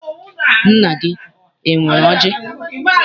Nna gị enwere ọjị?